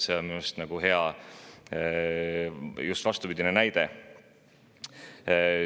See on minu arust just hea vastupidine näide.